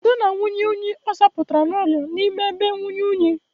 Ada na anwụnye unyi ọ zapụtara n'ụlọ n'ime ebe inwunye unyi.